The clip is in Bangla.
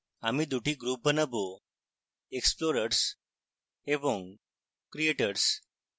আমি 2 টি groups বানাবোexplorers এবং creators